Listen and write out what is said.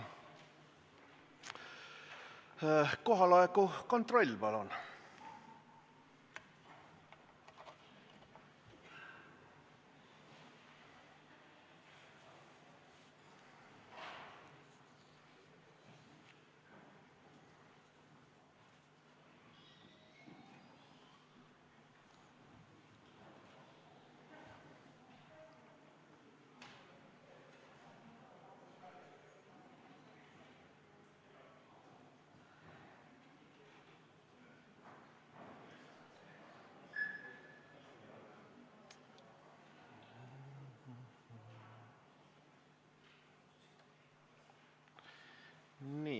Kohaoleku kontroll, palun!